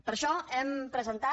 per això hem presentat